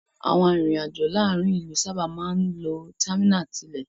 Àwọn arìnrìn-àj̀ò láàárin ìlú sábà máa ń lo támínà tilé.